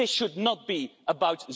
This should not be about